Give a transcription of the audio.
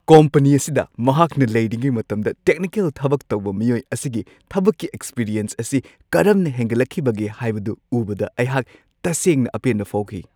Company ꯑꯁꯤꯗ ꯃꯍꯥꯛꯅ ꯂꯩꯔꯤꯉꯩ ꯃꯇꯝꯗ ꯇꯦꯛꯅꯤꯀꯦꯜ ꯊꯕꯛ ꯇꯧꯕ ꯃꯤꯑꯣꯏ ꯑꯁꯤꯒꯤ ꯊꯕꯛꯀꯤ ꯑꯦꯛꯁꯄꯤꯔꯤꯌꯦꯟꯁ ꯑꯁꯤ ꯀꯔꯝꯅ ꯍꯦꯟꯒꯠꯂꯛꯈꯤꯕꯒꯦ ꯍꯥꯏꯕꯗꯨ ꯎꯕꯗ ꯑꯩꯍꯥꯛ ꯇꯁꯦꯡꯅ ꯑꯄꯦꯟꯕ ꯐꯥꯎꯈꯤ꯫